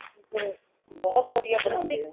ਤੁਸੀਂ ਤੇ ਬਹੁਤ ਵਦੀਆਂ ,ਬਨਾਉਂਦੇ ਹੋ